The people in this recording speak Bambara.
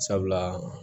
Sabula